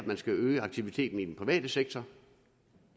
man skal øge aktiviteten er i den private sektor